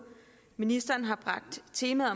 ministeren har bragt temaet